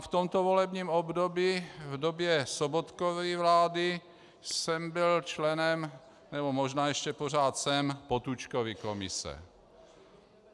A v tomto volebním období, v době Sobotkovy vlády, jsem byl členem, nebo možná ještě pořád jsem, Potůčkovy komise.